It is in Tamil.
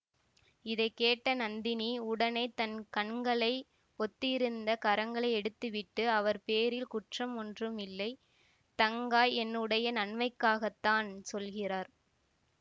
இதை கேட்ட நந்தினி உடனே தன் கண்களை பொத்தியிருந்த கரங்களை எடுத்து விட்டு அவர் பேரில் குற்றம் ஒன்றுமில்லை தங்காய் என்னுடைய நன்மைக்காகத்தான் சொல்கிறார்